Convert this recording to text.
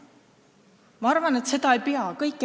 Ma arvan, et seda ei pea tegema.